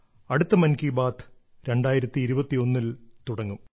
അടുത്ത മൻ കീ ബാത്ത് 2021 ൽ തുടങ്ങും